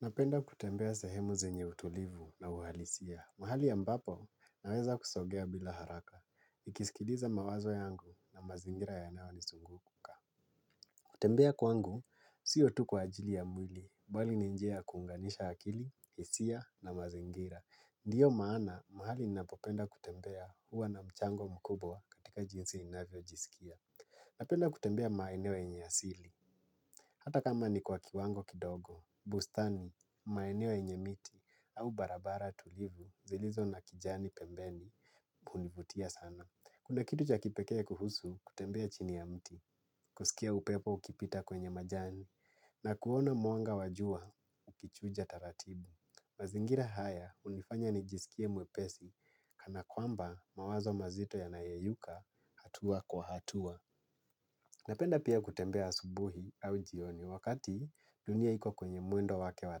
Napenda kutembea sehemu zenye utulivu na uhalisia. Mahali ya ambapo naweza kusongea bila haraka. Nikisikiliza mawazo yangu na mazingira yanayo ni zunguka. Kutembea kwangu, sio tu kwa ajili ya mwili. Mbali ni njia kuunganisha akili, hisia na mazingira. Ndiyo maana, mahali ninapopenda kutembea huwa na mchango mkubwa katika jinsi ninavyo jisikia. Napenda kutembea maeneo yenye asili. Hata kama ni kwa kiwango kidogo. Bustani, maeneo yenye miti. Au barabara tulivu zilizo na kijani pembeni hunivutia sana. Kuna kitu cha kipekee kuhusu kutembea chini ya mti. Kusikia upepo ukipita kwenye majani na kuona mwanga wa jua ukichuja taratibu. Mazingira haya hunifanya nijisikie mwepesi. Kana kwamba mawazo mazito ya yanayoyeyuka hatua kwa hatua. Napenda pia kutembea asubuhi au jioni wakati dunia iki kwenye mwendo wake wa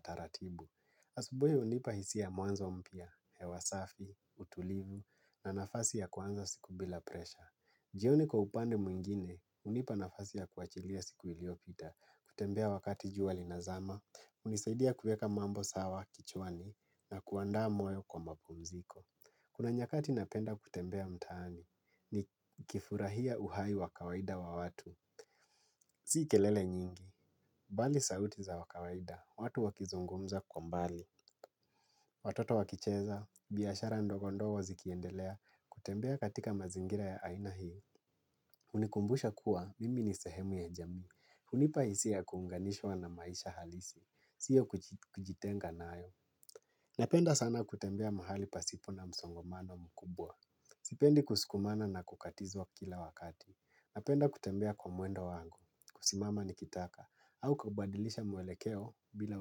taratibu. Asubuhi hunipa hisi ya mwanzo mpya, hewa safi, utulivu, na nafasi ya kwanza siku bila presha. Jioni kwa upande mwingine, hunipa nafasi ya kuachilia siku iliopita, kutembea wakati jua linazama, hunisaidia kuweka mambo sawa, kichwani, na kuandaa moyo kwa mapumziko. Kuna nyakati napenda kutembea mtaani, ni kifurahia uhai wa kawaida wa watu. Si kelele nyingi, bali sauti za wakawaida, watu wakizungumza kwa mbali. Watoto wakicheza, biashara ndogondogo zikiendelea, kutembea katika mazingira ya aina hii. Hunikumbusha kuwa, mimi ni sehemu ya jamii, hunipa hisia kuunganishwa na maisha halisi, sio kujitenga nayo. Napenda sana kutembea mahali pasipo na msongamano mkubwa. Sipendi kusukumana na kukatizwa kila wakati, napenda kutembea kwa mwendo wangu, kusimama nikitaka, au kabadilisha mwelekeo bila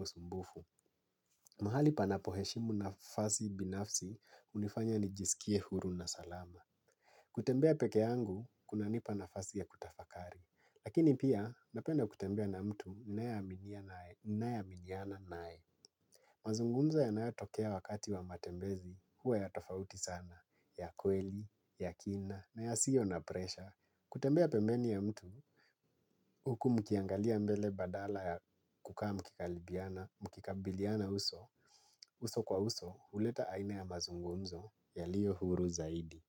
usumbufu. Mahali panapo heshimu nafasi binafsi hunifanya nijisikie huru na salama. Kutembea peke yangu kuna nipa nafasi ya kutafakari. Lakini pia napenda kutembea na mtu ambaye naaminiana naye. Mazungumzo yanayotokea wakati wa matembezi huwa ya tofauti sana. Ya kweli, ya kina na ya sio na presha. Kutembea pembeni ya mtu huku mkiangalia mbele badala ya kukaa mkikaribiana, mkikaribiana uso. Uso kwa uso huleta aina ya mazungumzo yaliyo huru zaidi.